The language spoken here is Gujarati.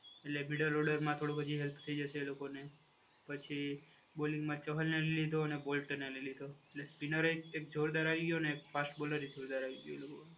એટલે બીડર ઓર્ડરમાં હેલ્પ થઈ જશે થોડું એ લોકોને. પછી બોલિંગમાં ચહલને લીધો અને વોલ્ટરને લીધો અને એક સ્પિનર હોય એક જોરદાર ફાસ્ટ બોલર હે જોરદાર આવી ગયો એ લોકો જોડે.